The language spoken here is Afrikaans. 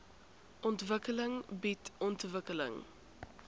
ontwikkeling bied ontwikkeling